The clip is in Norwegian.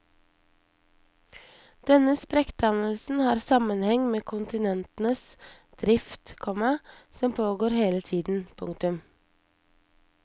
Denne sprekkdannelsen har sammenheng med kontinentenes drift, komma som pågår hele tiden. punktum